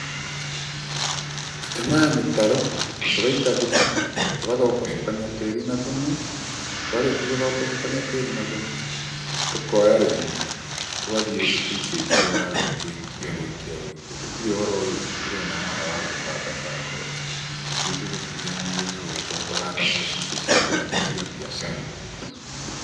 Tũtemaga mĩtaro tũgaita thumu tũgathombocokania tĩri na thumu, twarĩkia gũthombocokania tĩri na thumu, tũkoya rũhiũ tũgathiĩ tũikĩtie waru gũikia gũikia gũikia. Gũtirĩ ũhoro ũyũ ndĩrona haha wa gũbanga banga ũũ. Ithuĩ tũtitindanagĩrĩra ũguo tondũ tũhandaga o citũ cia kũrĩa ti cia biacara.